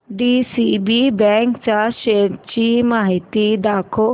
DCB bank च्या shares ची माहिती दाखव